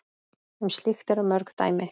Um slíkt eru mörg dæmi.